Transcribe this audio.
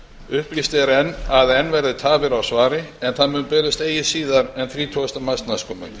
upplýst er að enn verði tafir á svari en það muni berast eigi síðar þrítugasta mars næstkomandi skriflegt